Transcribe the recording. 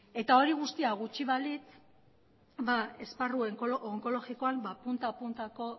hori guztia gutxi balitz esparru onkologikoan punta puntako